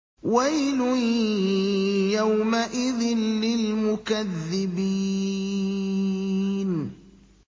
وَيْلٌ يَوْمَئِذٍ لِّلْمُكَذِّبِينَ